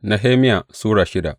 Nehemiya Sura shida